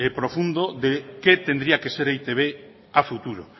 profundo de qué tendría que ser e i te be a futuro